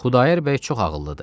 Xudayar bəy çox ağıllıdır.